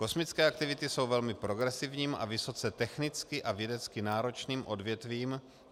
Kosmické aktivity jsou velmi progresivním a vysoce technicky a vědecky náročným odvětvím.